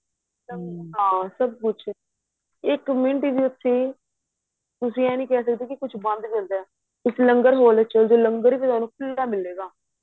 ਹਾਂ ਸਭ ਕੁੱਛ ਇੱਕ ਮਿੰਟ ਵਿੱਚ ਤੁਸੀਂ ਤੁਸੀਂ ਏਹ ਨਹੀਂ ਕਹਿ ਸਕਦੇ ਕੁੱਛ ਬੰਦ ਮਿਲ ਰਿਹਾ ਏ ਤੁਸੀਂ ਲੰਗਰ ਹਾਲ ਵਿੱਚ ਚੱਲੇ ਜੋ ਲੰਗਰ ਵੀ ਤੁਹਾਨੂੰ ਖੁੱਲਾ ਮਿਲੇਗਾਂ